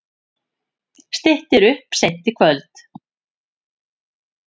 Styttir upp seint í kvöld